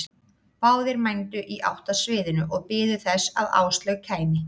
Báðir mændu í átt að sviðinu og biðu þess að Áslaug kæmi.